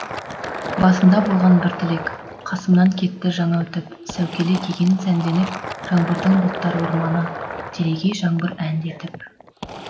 басында болған бір тілек қасымнан кетті жаңа өтіп сәукеле киген сәндетіп жаңбырдың бұлттар орманы телегей жаңбыр әндетіп